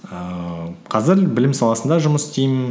ііі қазір білім саласында жұмыс істеймін